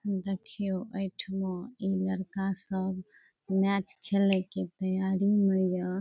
देखियो ए ठमा ई लड़का सब मैच खेले के तैयारी में या ।